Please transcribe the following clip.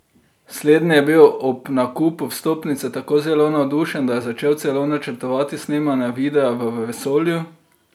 Slednji je bil ob nakupu vstopnice tako zelo navdušen, da je začel celo načrtovati snemanje videa v vesolju.